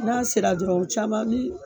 N'a sera dɔrɔn caman mi